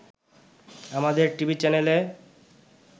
আমাদের টিভি চ্যানেলে